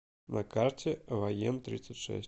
на карте воентридцатьшесть